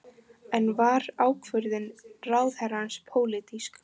En var ákvörðun ráðherrans pólitísk?